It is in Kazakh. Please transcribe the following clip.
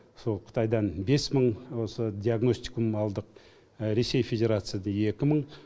сол қытайдан бес мың осы диагностикум алдық ресей федерациядан екі мың